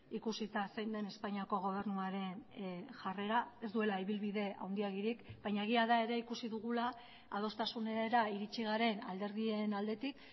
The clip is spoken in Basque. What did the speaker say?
ikusita zein den espainiako gobernuaren jarrera ez duela ibilbide handiegirik baina egia da ere ikusi dugula adostasunera iritsi garen alderdien aldetik